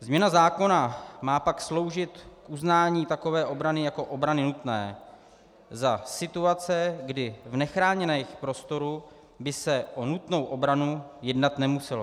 Změna zákona má pak sloužit k uznání takové obrany jako obrany nutné za situace, kdy v nechráněném prostoru by se o nutnou obranu jednat nemuselo.